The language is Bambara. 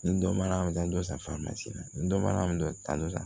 Ni dɔ mara don san na ni dɔ mara mi don da dɔ kan